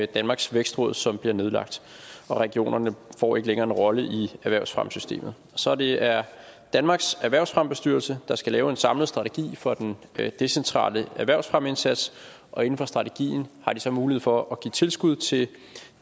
danmarks vækstråd som bliver nedlagt og regionerne får ikke længere en rolle i erhvervsfremmesystemet så det er danmarks erhvervsfremmebestyrelse der skal lave en samlet strategi for den decentrale erhvervsfremmeindsats og inden for strategien har de så mulighed for at give tilskud til